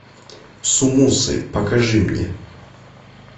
сумусы покажи мне